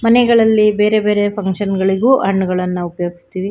ಮನೆಗಳಲ್ಲಿ ಬೇರೆಬೇರೆ ಫಕ್ಷನ್ ಗಳಿಗೂ ಹಣ್ಣಗಳನ್ನು ಉಪಯೋಗಸ್ತೀವಿ.